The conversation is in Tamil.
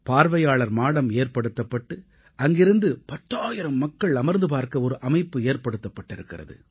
பார்வையாளர் மாடம் ஏற்படுத்தப்பட்டு அங்கிருந்து 10000 மக்கள் அமர்ந்து பார்க்க ஒரு அமைப்பு ஏற்படுத்தப்பட்டிருக்கிறது